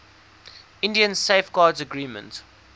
india safeguards agreement